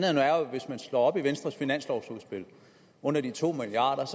hvis man slår op i venstres finanslovudspil under de to milliard